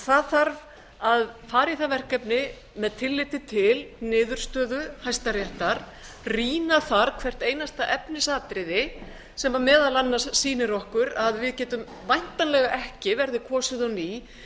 það þarf að fara í það verkefni með tilliti til niðurstöðu hæstaréttar annar þar hvert einasta efnisatriði sem meðal annars sýnir okkur að við getum væntanlega ekki verði kosið á ný